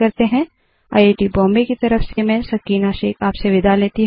I I T Bombay की तरफ मैं सकीना अब आप से विदा लेती हूँ